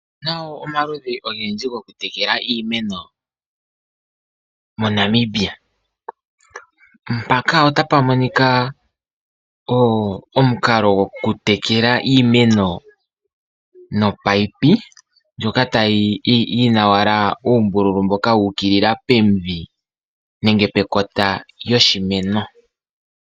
Otu na wo omaludhi ogendji gokutekela iimeno moNamibia. Aantu yamwe ohaya longitha omukalo gokutekela iimeno nomunino, ndjoka yi na owala uumbululu wu ukilila pomidhi nenge pekota lyoshimeno.